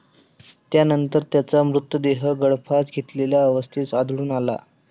त्यानंतर त्याचा मृतदेह गळफास घेतलेल्या अवस्थेत आढळून आला.